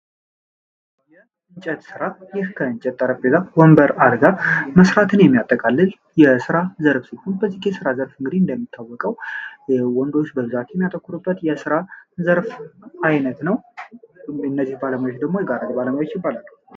የእንጨት ስራ ይህ ከእንጨት ጠረጴዛና ወንበር አልጋ መሥራትን የሚያጠቃልል የሥራ ዘርፍ ሲሆን፤ በዚህ የሥራ ዘርፍ እንግዲህ እንደሚታወቀው የወንዶች በብዛት የሚያተኩሩበት የሥራ ዘርፍ አይነት ነው። እነዚህ ባለሙያዎች ደግሞ የጋራ ባለሙያዎች ይባላሉ።